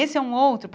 Esse é um outro.